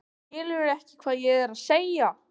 Skilurðu ekki hvað ég er að segja?